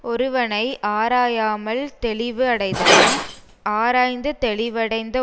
ஒருவனை ஆராயாமல் தெளிவடைதலும் ஆராய்ந்து தெளிவடைந்த